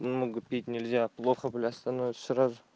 много пить нельзя плохо бля становится сразу